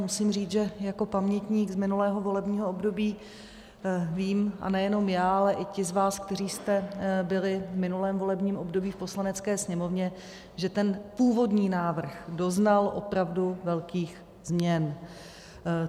Musím říct, že jako pamětník z minulého volebního období vím, a nejenom já, ale i ti z vás, kteří jste byli v minulém volebním období v Poslanecké sněmovně, že ten původní návrh doznal opravdu velkých změn.